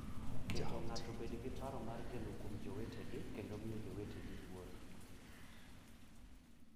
Keto ng’ato obed gi paro mar geno kuom jowetegi kendo miyo jowetegi luor.